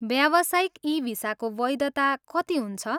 व्यावसायिक ई भिसाको वैधता कति हुन्छ?